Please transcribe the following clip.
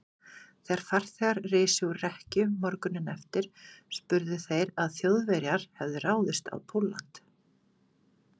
Þegar farþegar risu úr rekkju morguninn eftir, spurðu þeir, að Þjóðverjar hefðu ráðist á Pólland.